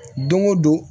Don o don